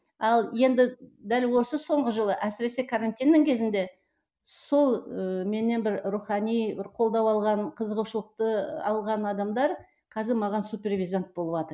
ал енді дәл осы соңғы жылы әсіресі карантиннің кезінде сол ыыы менен бір рухани бір қолдау алған қызығушылықты алған адамдар қазір маған супервизант болыватыр